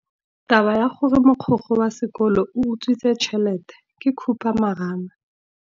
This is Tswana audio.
Taba ya gore mogokgo wa sekolo o utswitse tšhelete ke khupamarama.